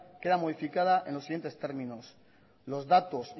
queda modificada en los siguientes términos los datos